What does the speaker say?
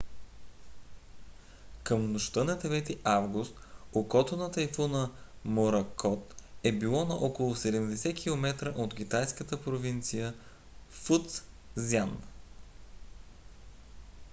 към нощта на 9-и август окото на тайфуна моракот е било на около 70 километра от китайската провинция фуцзян